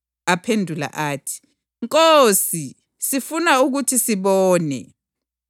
Aphendula athi, “Nkosi, sifuna ukuthi sibone.”